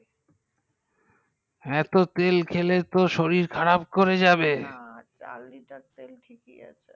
এত তেল খেলে তো শরীর খারাপ করে যাবে